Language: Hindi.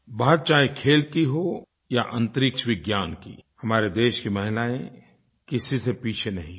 बात चाहे खेल की हो या अंतरिक्षविज्ञान की हमारे देश की महिलायें किसी से पीछे नहीं हैं